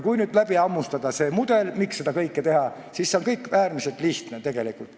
Kui nüüd läbi hammustada see mudel, miks seda kõike teha, siis see kõik on tegelikult äärmiselt lihtne.